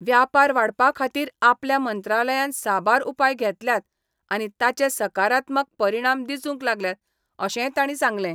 व्यापार वाडपा खातीर आपल्या मंत्रालयान साबार उपाय घेतल्यात आनी ताचे साकारात्मक परिणाम दिसूंक लागल्यांत अशेंय तांणी सांगलें.